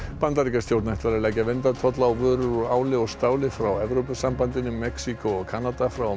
Bandaríkjastjórn ætlar að leggja verndartolla á vörur úr áli og stáli frá Evrópusambandinu Mexíkó og Kanada frá og með